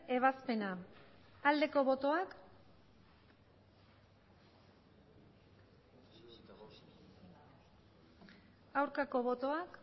ebazpena aldeko botoak aurkako botoak